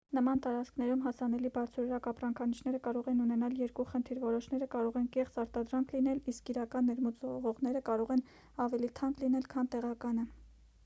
նման տարածքներում հասանելի բարձրորակ ապրանքանիշերը կարող են ունենալ երկու խնդիր որոշները կարող են կեղծ արտադրանք լինել իսկ իրական ներմուծվողները կարող են ավելի թանկ լինել քան տեղականը